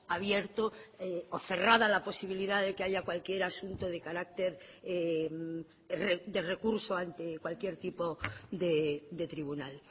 abierto o cerrada la posibilidad de que haya cualquier asunto de carácter de recurso ante cualquier tipo de tribunal